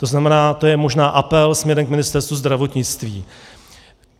To znamená, to je možná apel směrem k Ministerstvu zdravotnictví.